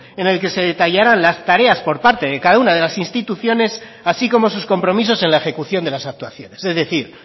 en el que se detallaran las tareas por parte de cada una de las instituciones así como sus compromisos en la ejecución de las actuaciones es decir